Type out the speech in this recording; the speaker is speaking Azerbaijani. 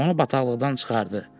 Onu bataqlıqdan çıxardı.